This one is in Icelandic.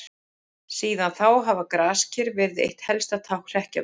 Síðan þá hafa grasker verið eitt helsta tákn hrekkjavöku.